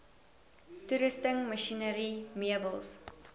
toerusting masjinerie meubels